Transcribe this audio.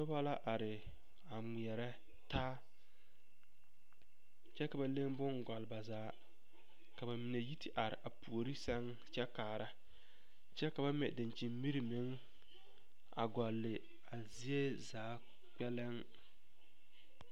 Noba la are ŋmeɛrɛ taa kyɛ ka ba le boŋ gɔle ba zaa ka ba mine yi te are puori sɛŋ kyɛ kaara kyɛ ka ba mɛ dakyini miri meŋ a gɔle a zie zaa kpɛlem.